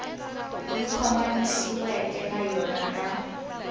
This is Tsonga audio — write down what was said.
yi khomanisiweke na yona na